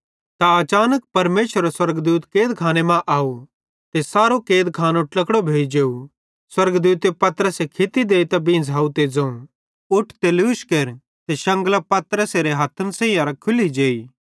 त अचानक परमेशरेरो स्वर्गदूत कैदखाने मां आव ते सारो कैदखानो ट्लकड़ो भोइ जेव स्वर्गदूते पतरसे खित्ती देइतां बींझ़ाव ते ज़ोवं उठ ते लूश केर ते शंगलां पतरसेरे हथ्थन सैहींयेरां खुल्ली जेई